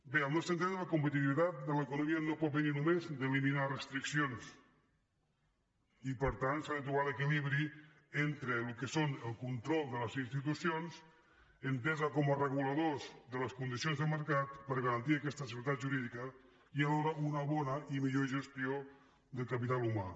bé al nostre entendre la competitivitat de l’economia no pot venir només d’eliminar restriccions i per tant s’ha de trobar l’equilibri entre el que és el control de les institucions enteses com a reguladors de les condicions del mercat per garantir aquesta seguretat jurídica i alhora una bona i millor gestió del capital humà